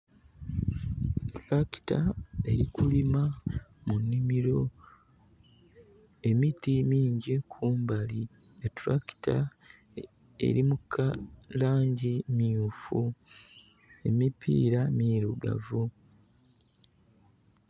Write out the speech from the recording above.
Tulakita eri kulima mu nnhimiro emiti mingi kumbali. Etulakita eri mu langi mmyufu emipira mirugavu.